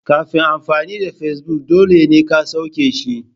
Kafin amfani da Facebook dole ne ka sauke shi.